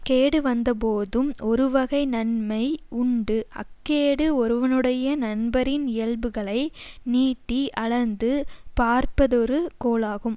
கேடு வந்த போதும் ஒருவகை நன்மை உண்டு அக்கேடு ஒருவனுடைய நண்பரின் இயல்புகளை நீட்டிஅளந்து பார்ப்பதொரு கோலாகும்